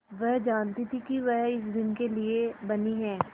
वह जानती थी कि वह इसी दिन के लिए बनी है